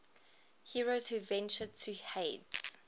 heroes who ventured to hades